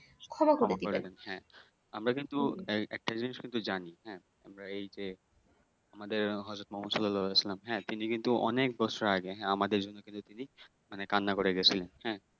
ক্ষমা করে দেবেন হ্যাঁ আমারা কিন্তু একটা জিনিস কিন্তু জানি হ্যাঁ আমরা এই যে আমাদের হইত তিনি কিন্তু অনেক বছর আগে হ্যাঁ আমাদের জন্য কিন্তু তিনি মানে কান্না করে গেছিলেন হ্যাঁ